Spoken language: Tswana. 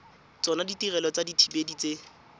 tsona ditirelo tsa dithibedi tse